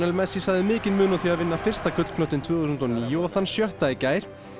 messi sagði mikinn mun á því að vinna fyrsta tvö þúsund og níu og þann sjötta í gær